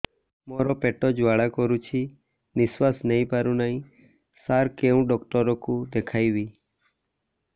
ମୋର ପେଟ ଜ୍ୱାଳା କରୁଛି ନିଶ୍ୱାସ ନେଇ ପାରୁନାହିଁ ସାର କେଉଁ ଡକ୍ଟର କୁ ଦେଖାଇବି